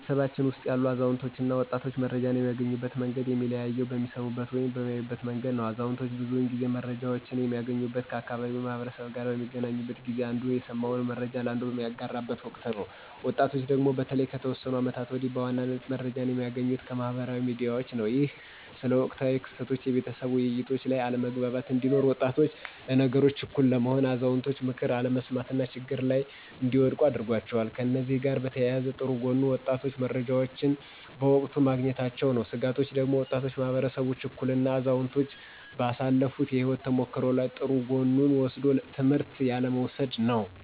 በቤተሰባችን ውስጥ ያሉ አዛውንቶች እና ወጣቶች መረጃን የሚያገኙበት መንገድ የሚለያየው በሚሰሙበት ወይም በሚያዩበት መንገድ ነው። አዛውንቶች ብዙውን ጊዜ መረጃወችን የሚያገኙት ከአካባቢው ማህበረሰብ ጋር በሚገናኙበት ጊዜ አንዱ የሰማውን መረጃ ለአንዱ በሚያጋራበት ወቅት ነው። ወጣቶቹ ደግሞ በተለይ ከተወሰኑ አመታቶች ወዲህ በዋናነት መረጃዎችን የሚያገኙት ከማህበራዊ ሚዲያዎች ነው። ይህም ስለ ወቅታዊ ክስተቶች የቤተሰብ ውይይቶች ላይ አለመግባባት እንዲኖር፤ ወጣቶች ለነገሮች ችኩል በመሆን የአዛውንቶችን ምክር አለመስማት እና ችግሮች ላይ እንዲወድቁ አድርጓቸዋል። ከእነዚህ ጋር በተያያዘ ጥሩ ጎኑ ወጣቶቹ መረጃዎችን በወቅቱ ማግኘታቸው ነው። ስጋቶቹ ደግሞ ወጣቱ ማህበረሰብ ችኩል እና አዛውንቶች ባሳለፋት የህይወት ተሞክሮ ላይ ጥሩ ጎኑን ወስዶ ትምህርት ያለ መውሰድ ነው።